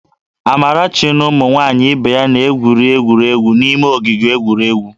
Amarachi na ụmụ nwaanyị ibe ya na-gwuriri egwuregwu n'ime ogige egwuregwu